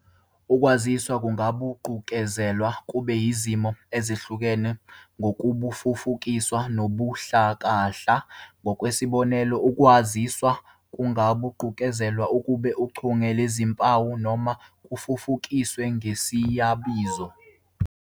Ukwaziswa kungaguqukezelwa kube izimo ezihlukene zokubufufukisa nokubuhlakahla, ngokwesibonelo, ukwaziswa kungaguqukezelwa kube uchunge lwezimpawu, noma kufufukiswe ngesiyabizo.